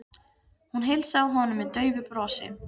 Hún heilsaði honum með daufu brosi.